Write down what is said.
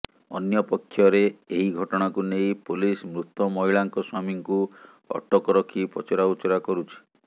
ଅନ୍ୟପକ୍ଷରେ ଏହି ଘଟଣାକୁ ନେଇ ପୋଲିସ ମୃତ ମହିଳାଙ୍କ ସ୍ୱାମୀଙ୍କୁ ଅଟକ ରଖି ପଚରାଉଚୁରା କରୁଛି